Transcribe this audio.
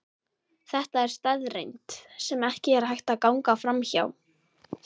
Þetta er staðreynd, sem ekki er hægt að ganga framhjá.